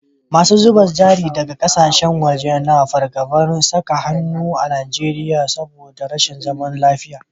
Masu zuba jari daga kasashen waje na fargabar saka hannun jari a Najeriya saboda rashin zaman lafiya